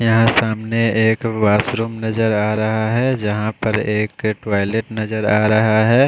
यहाँ सामने एक वाशरूम नज़र आरहा है जहा पर एक टॉइलेट नज़र आरहा है।